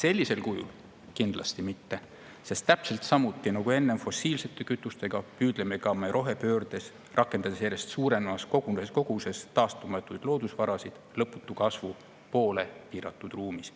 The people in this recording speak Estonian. Sellisel kujul kindlasti mitte, sest täpselt samuti nagu enne fossiilsete kütustega, püüdleme ka rohepöördes, rakendades järjest suurenevas koguses taastumatuid loodusvarasid, lõputu kasvu poole piiratud ruumis.